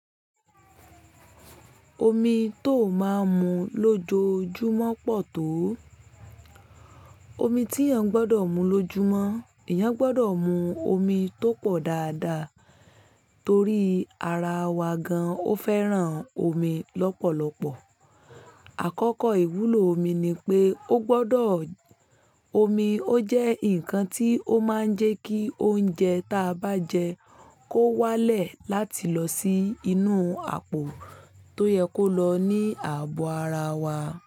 Omi tó máa ń mu lójoojúmọ́ pọ̀ tó? Omi tí èèyàn gbọ́dọ̀ mu lójúmọ́, èèyàn gbọ́dọ̀ mu omi tó pọ̀ dáadáa torí ara wa gan-an ó fẹ́ràn omi lọ́pọ̀lọpọ̀. Àkọ́kọ́ ìwúlò omi ni pé ó gbọ́dọ̀, omi ó jẹ́ ǹkan tí ó máa ń jẹ́ kí oúnjẹ ta bá jẹ kó wálẹ̀ láti lọ sí inú àpò tó yẹ kó lọ ní ààbò ara wa.